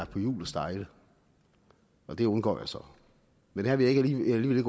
på hjul og stejle og det undgår jeg så men her vil jeg